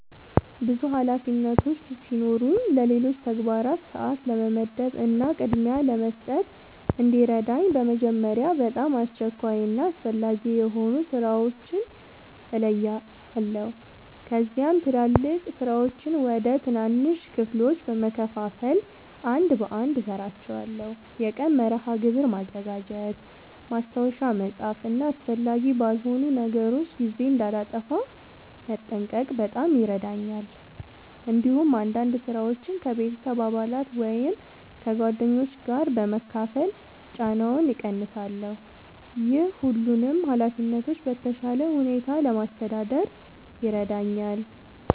ብዙ ኃላፊነቶች ሲኖሩኝ ለሌሎች ተግባራት ሰአት ለመመደብ እና ቅድሚያ ለመስጠት እንዲረዳኝ በመጀመሪያ በጣም አስቸኳይ እና አስፈላጊ የሆኑ ሥራዎችን እለያለሁ። ከዚያም ትላልቅ ሥራዎችን ወደ ትናንሽ ክፍሎች በመከፋፈል አንድ በአንድ እሠራቸዋለሁ። የቀን መርሃ ግብር ማዘጋጀት፣ ማስታወሻ መጻፍ እና አስፈላጊ ባልሆኑ ነገሮች ጊዜ እንዳላጠፋ መጠንቀቅ በጣም ይረዳኛል። እንዲሁም አንዳንድ ሥራዎችን ከቤተሰብ አባላት ወይም ከጓደኞች ጋር በመካፈል ጫናውን እቀንሳለሁ። ይህ ሁሉንም ኃላፊነቶች በተሻለ ሁኔታ ለማስተዳደር ይረዳኛል።